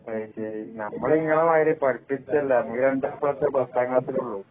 നമ്മൾ നിങ്ങളെ മാരി പഠിപ്പിസ്റ്റല്ല നമ്മള് 2 എ പ്ലസ് പത്താം ക്ലാസ്സിലൊള്ളു